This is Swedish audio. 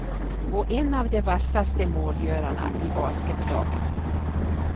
Och en av de vassaste målgörarna i basketlaget.